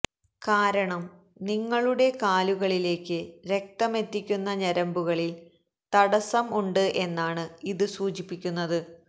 കാരണം നിങ്ങളുടെ കാലുകളിലേക്ക് രക്തമെത്തിക്കുന്ന ഞരമ്പുകളില് തടസ്സം ഉണ്ട് എന്നാണ് ഇത് സൂചിപ്പിക്കുന്നത്